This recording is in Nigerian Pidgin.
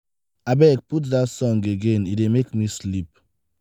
abeg put dat song again e dey make me sleep.